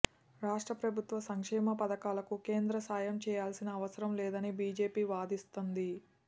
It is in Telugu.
రాష్ట్ర ప్రభుత్వ సంక్షేమ పథకాలకు కేంద్రం సాయం చేయాల్సిన అవసరం లేదని బిజెపి వాదిస్తంది